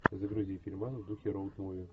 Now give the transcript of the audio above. загрузи фильман в духе роуд муви